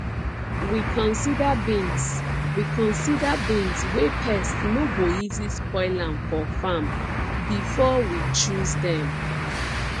we consider beans we consider beans wey pest no go easy spoil am for farm before we choose dem